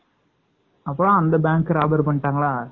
அப்பறம் அந்த bank அ robbery பண்ணிட்டாங்களா?